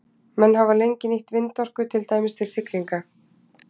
Menn hafa lengi nýtt vindorku, til dæmis til siglinga.